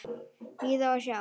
Bíða og sjá.